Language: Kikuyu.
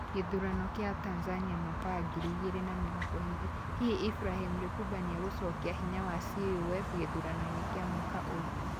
Ũthuurano wa Tanzania mwaka wa ngiri igĩrĩ na mĩrongo ĩĩrĩ: Hihi Ibrahim Lipumba nĩ egũcokia hinya wa CUF gĩthuranoinĩ kĩa mwaka ũyũ?